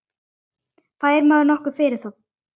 Fær maður nokkuð fyrir það?